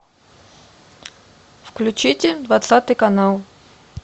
включите двадцатый канал